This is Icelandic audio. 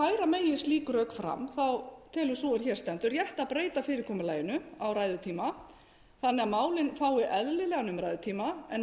færa megi slík rök fram telur sú er hér stendur rétt að breyta fyrirkomulaginu á ræðutíma þannig að málin fái eðlilegan umræðutíma en